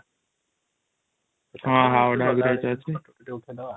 ହଁ ହାଓଡ଼ା ବ୍ରିଜ ଅଛି|